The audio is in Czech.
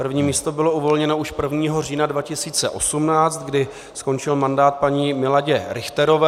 První místo bylo uvolněno již 1. října 2018, kdy skončil mandát paní Miladě Richterové.